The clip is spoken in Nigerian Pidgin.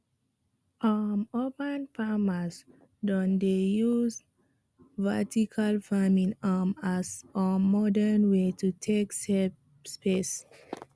um urban farmers don dey use vertical farming um as um modern way to take save space